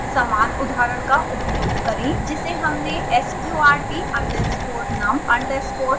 समान उदाहरण का उपयोग करें जिसे हमने sqrt_num_listpy में उपयोग किया